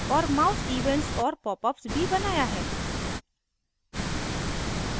औऱ mouse events और popups भी बनाया है